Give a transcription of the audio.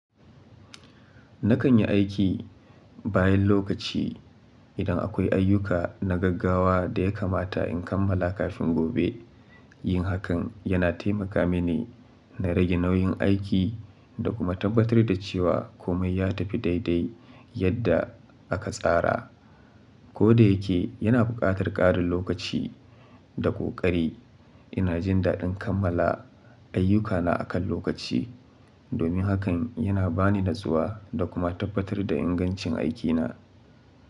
Nakan yi aiki bayan lokaci idan akwai ayyuka na gaggawa da ya kamata in kammala kafin gobe. Yin hakan yana taimaka mini na rage nauyin aiki da kuma tabbatar da cewa komai ya tafi daidai yadda aka tsara. Ko da yake yana buƙatar ƙarin lokaci da ƙoƙari, ina jin daɗin kammala ayyukana akan lokaci. Domin haka yana ba ni natsuwa da kuma tabbatar da ingancin aikina.